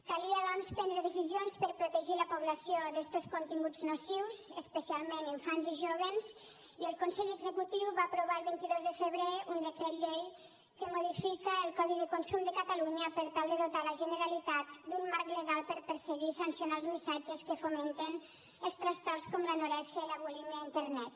calia doncs prendre decisions per protegir la població d’estos continguts nocius especialment infants i joves i el consell executiu va aprovar el vint dos de febrer un decret llei que modifica el codi de consum de catalunya per tal de dotar la generalitat d’un marc legal per perseguir i sancionar els missatges que fomenten els trastorns com l’anorèxia i la bulímia a internet